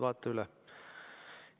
Vaata üle.